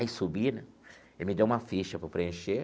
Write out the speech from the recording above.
Aí subi né, ele me deu uma ficha para eu preencher.